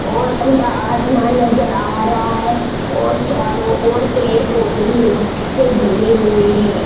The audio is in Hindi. और खुला आसमान नज़र आ रहा है और चारों ओर पेड़ पौधे ल से घिरे हुए हैं।